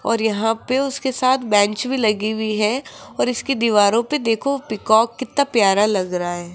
और यहां पे उसके साथ बेंच भी लगी हुई है और इसके दीवारों पे देखो पीकॉक कितना प्यारा लग रहा --